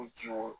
O jiwo